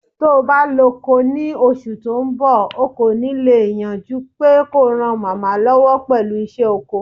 Tó'ba lọ́'ko ni oṣù tó ńbọ̀, o kò ní lè yàn jupé kó ran màmá lọ́wọ́ pẹ̀lú ìṣe ọkọ.